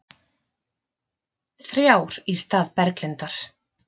Þrjár í stað Berglindar